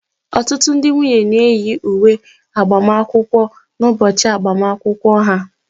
Ọtụtụ ndị nwunye na-eyi uwe agbamakwụkwọ n'ụbọchị agbamakwụkwọ ha